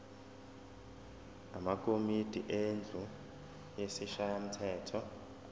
amakomidi endlu yesishayamthetho